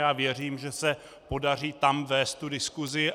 Já věřím, že se podaří tam vést tu diskusi.